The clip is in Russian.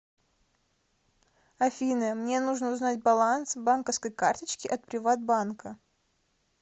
афина мне нужно узнать баланс банковской карточки от приват банка